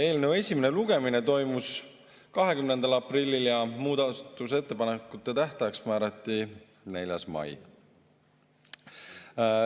Eelnõu esimene lugemine toimus 20. aprillil ja muudatusettepanekute tähtajaks määrati 4. mai.